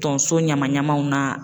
Tonso ɲama ɲamaw na